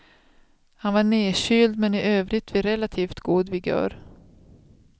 Han var nerkyld men i övrigt vid relativt god vigör.